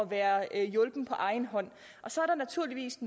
være hjulpen på egen hånd så er der naturligvis